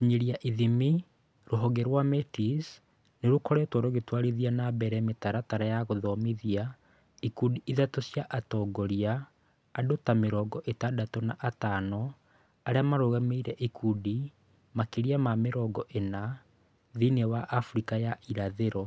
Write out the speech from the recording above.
Gũkinyĩra / ithimi: Rũhonge rwa Metis nĩ rũkoretwo rũgĩtwarithia na mbere mĩtaratara ya gũthomithia ikundi ithatũ cia atongoria (andũ ta mĩrongo ĩtandatũ na atano, arĩa marũgamĩrĩire ikundi makĩria ma mĩrongo ĩna thĩinĩ wa Afrika ya irathĩro).